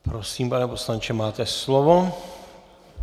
Prosím, pane poslanče, máte slovo.